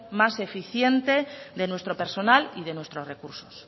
más eficiente de nuestro personal y de nuestros recursos